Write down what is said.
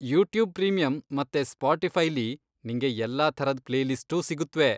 YouTube premium ಮತ್ತೆ ಸ್ಪೋಟಿಫೈಲಿ ನಿಂಗೆ ಎಲ್ಲಾ ಥರದ್ ಪ್ಲೇಲಿಸ್ಟೂ ಸಿಗುತ್ವೆ.